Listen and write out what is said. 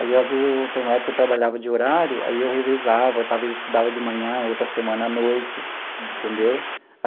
Aí, às vezes eu, tem uma época que eu trabalhava de horário, aí eu revezava, talvez estudava de manhã, outra semana à noite, entendeu?